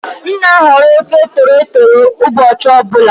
M na-ahọrọ ofe tolotolo ụbọchị ọ bụla.